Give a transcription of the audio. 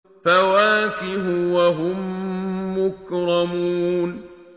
فَوَاكِهُ ۖ وَهُم مُّكْرَمُونَ